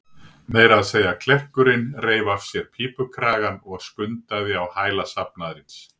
Meira að segja klerkurinn reif af sér pípukragann og skundaði á hæla safnaðarins.